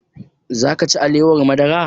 Za ka ci alewar madara?